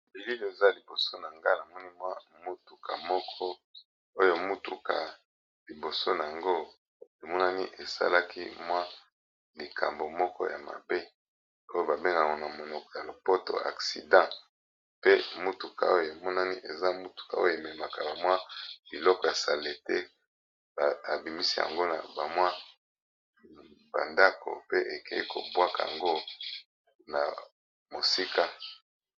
Belil eza liboso na nga namoni mwa mutuka moko oyo mutuka liboso nango emonani esalaki mwa likambo moko ya mabe oyo ba bengana na monoko ya lopoto accident pe mutuka oyo emonani eza mutuka oyo ememaka bamwa biloko ya salite babimisi yango na ba mwa ba ndako pe ekeyi kobwaka yango na mosika.